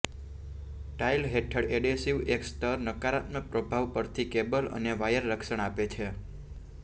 tile હેઠળ adhesive એક સ્તર નકારાત્મક પ્રભાવ પરથી કેબલ અને વાયર રક્ષણ આપે છે